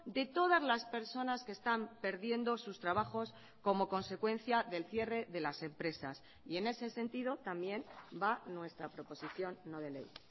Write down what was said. de todas las personas que están perdiendo sus trabajos como consecuencia del cierre de las empresas y en ese sentido también va nuestra proposición no de ley